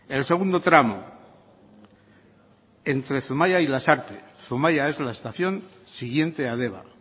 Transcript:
el segundo tramo entre zumaia y lasarte zumaia es la estación siguiente a deba